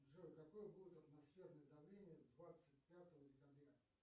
джой какое будет атмосферное давление двадцать пятого декабря